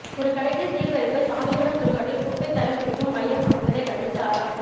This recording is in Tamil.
ஒரு கடைக்கு சீல் வைப்பு சாந்திவனம் சுடுகாட்டில் குப்பை தரம் பிரிக்கும் மையம் அமைப்பதை கண்டித்து ஆர்ப்பாட்டம்